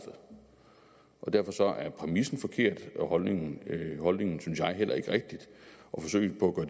præmissen forkert og holdningen holdningen synes jeg heller ikke rigtig og forsøget på at